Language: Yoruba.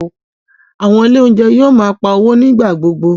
Àwọn Ilé oúnjẹ yóò máa ń pá owó ní ìgbà gbogbo